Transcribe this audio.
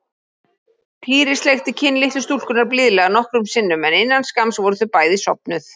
Týri sleikti kinn litlu stúlkunnar blíðlega nokkrum sinnum en innan skamms voru þau bæði sofnuð.